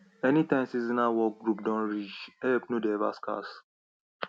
anytime seasonal work group don reach help no dey ever scarce